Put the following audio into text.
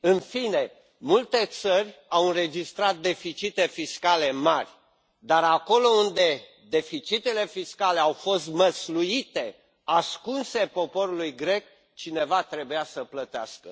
În fine, multe țări au înregistrat deficite fiscale mari, dar acolo unde deficitele fiscale au fost măsluite, ascunse poporului grec, cineva trebuia să plătească.